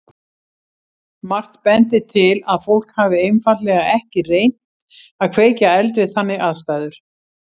Margt bendir til að fólk hafi einfaldlega ekki reynt að kveikja eld við þannig aðstæður.